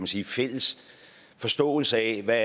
sige fælles forståelse af hvad